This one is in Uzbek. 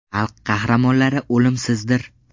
Xalq qahramonlari o‘limsizdir”.